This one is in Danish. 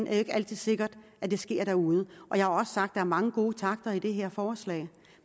jo ikke altid sikkert at det sker derude jeg har også sagt er mange gode takter i det her forslag